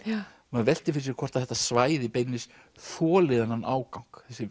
maður veltir fyrir sér hvort þetta svæði beinlínis þoli þennan ágang